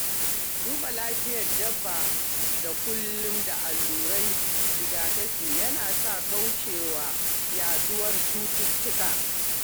Duba lafiyar dabba da kula da alluran rigakafi yana sa kauce wa yaduwar cututtuka.